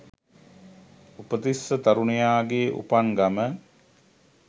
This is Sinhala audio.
උපතිස්ස තරුණයාගේ උපන් ගම